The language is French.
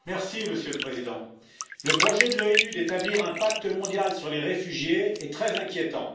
Monsieur le Président, le projet de l'ONU d'établir un pacte mondial sur les réfugiés est très inquiétant.